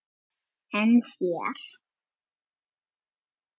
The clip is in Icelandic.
En þér?